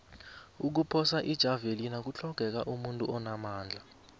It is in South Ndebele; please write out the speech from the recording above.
ukuphosa ijavelina kutlhogeka umuntu onamandla